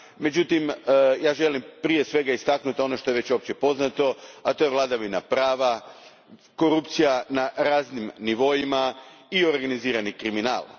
Međutim, ja želim prije svega istaknuti ono što je već opće poznato, a to je vladavina prava, korupcija na raznim nivoima i organizirani kriminal.